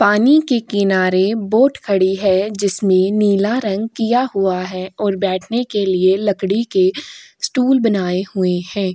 पानी के किनारे बोट खड़ी है। जिसमे नीला रंग किया हुआ है और बैठने के लिए लकड़ी के स्टूल बनाए हुए हैं।